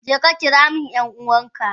Jeka kiramin yan uwanka.